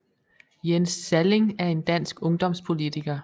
Jens Sallling er en dansk ungdomspolitiker